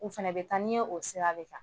U fɛnɛ bi taa n'i ye, o sira de kan